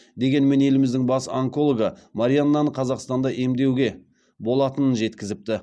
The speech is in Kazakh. дегенмен еліміздің бас онкологы марианнаны қазақстанда емдеуге болатынын жеткізіпті